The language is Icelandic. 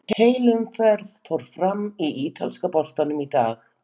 Heil umferð fór fram í ítalska boltanum í dag.